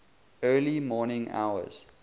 early morning hours